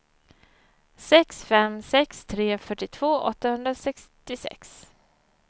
sex fem sex tre fyrtiotvå åttahundrasextiosex